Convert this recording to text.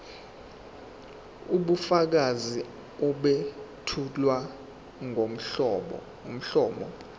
ubufakazi obethulwa ngomlomo